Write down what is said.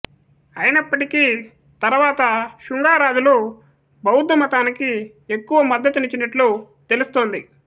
అయినప్పటికీ తరువాత షుంగా రాజులు బౌద్ధమతానికి ఎక్కువ మద్దతునిచ్చినట్లు తెలుస్తోంది